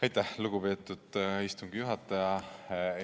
Aitäh, lugupeetud istungi juhataja!